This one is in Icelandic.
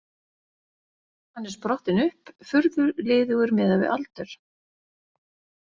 Hann er sprottinn upp, furðu liðugur miðað við aldur.